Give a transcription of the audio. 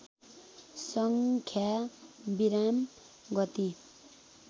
सङ्ख्या विराम गति